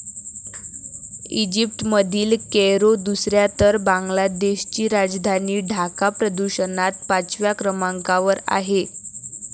इजिप्तमधील Cairo दुसऱ्या तर बांगलादेशची राजधानी ढाका प्रदूषणात पाचव्या क्रमांकावर आहे.